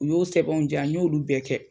U y'o sɛbɛnw di yan n y'olu bɛɛ kɛ.